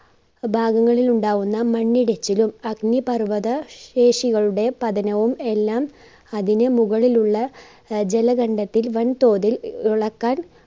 ഭാഗങ്ങളിൽ ഉണ്ടാകുന്ന മണ്ണിടിച്ചിലും അഗ്നിപർവത ശേഷികളുടെ പതനവും എല്ലാം അതിന് മുകളിലുള്ള ആഹ് ജലകണ്ടത്തിൽ വൻ തോതിൽ ഇളക്കാൻ